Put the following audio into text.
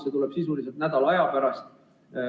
See tuleb sisuliselt nädala aja pärast.